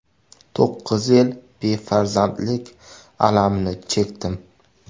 To‘qqiz yil befarzandlik alamini chekdim.